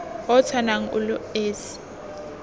o tshwanang o le esi